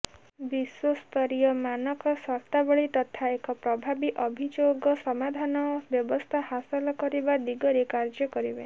ବିଶ୍ୱସ୍ତରୀୟ ମାନକ ସର୍ତ୍ତାବଳୀ ତଥା ଏକ ପ୍ରଭାବୀ ଅଭିଯୋଗ ସମାଧାନ ବ୍ୟବସ୍ଥା ହାସଲ କରିବା ଦିଗରେ କାର୍ଯ୍ୟ କରିବେ